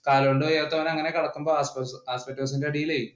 കാലുകൊണ്ട് വയ്യാത്തവന്‍ അങ്ങനെ കിടക്കുമ്പോൾ asbestos ഇന്റെ അടിയിലെ